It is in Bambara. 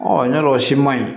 ya dɔ o si man ɲi